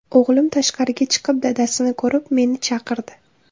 O‘g‘lim tashqariga chiqib dadasini ko‘rib, meni chaqirdi.